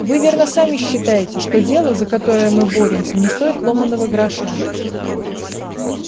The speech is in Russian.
вы верно сами считаете что дело за которое мы боремся не стоит ломаного гроша